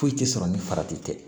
Foyi tɛ sɔrɔ ni farati tɛ